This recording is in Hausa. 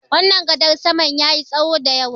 wannan gadar saman ya yi tsaho da yawa